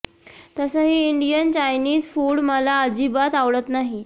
तसंही Indian Chinese food मला अजिबात आवडत नाही